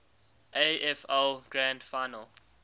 afl grand final